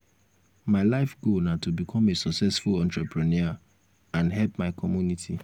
my life goal na to become a successful entrepreneur and help my community.